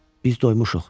Biz doymuşuq,